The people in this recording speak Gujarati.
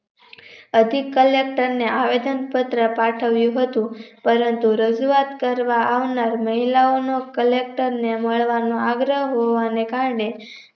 અડધી કલાક અમને આવેદન પત્ર પાઠવ્યું હતું પરંતુ રજૂઆત કરવા આહલા મહિલાઓનો collector ને મળવાનો આગ્રહ હોવાને કારણે